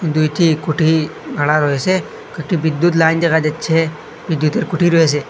দুইটি কুঠি খাড়া রয়েছে কয়েকটি বিদ্যুৎ লাইন দেখা যাচ্ছে বিদ্যুতের কুঠি রয়েছে।